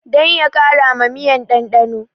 Dan ya kara ma miyan ɗanɗano